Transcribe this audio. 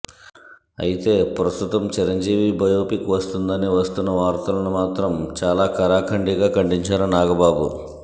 అయితే ప్రస్తుతం చిరంజీవి బయోపిక్ వస్తుందని వస్తున్న వార్తలను మాత్రం చాలా కరాఖండిగా ఖండించారు నాగబాబు